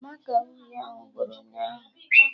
Màkà uhie ahụ gwụrụ ụnyaahụ